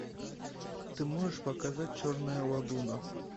ты можешь показать черная лагуна